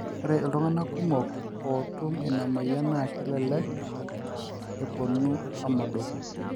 ore iltunganak kumok oo tum ina moyian naa kelelek eponu amodoku